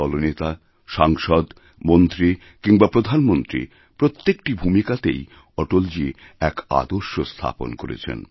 দলনেতা সাংসদ মন্ত্রী কিংবা প্রধানমন্ত্রী প্রত্যেকটি ভূমিকাতেই অটলজীএক আদর্শ স্থাপন করেছেন